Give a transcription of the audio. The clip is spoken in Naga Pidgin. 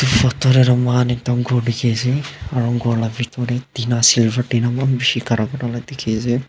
photo de du moihan dikhi ase aru ghor la bitorde tina silver tina maan bishi dikhi ase.